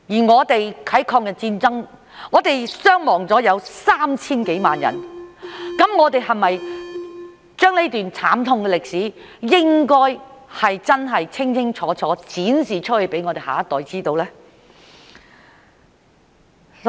我們在抗日戰爭中有 3,000 多萬人傷亡，我們是否應該將這段慘痛歷史清清楚楚展示給我們下一代知道呢？